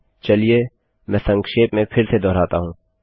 चलिए मैं संक्षेप में फिर से दोहराता हूँ